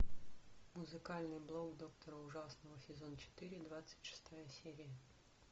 музыкальный блог доктора ужасного сезон четыре двадцать шестая серия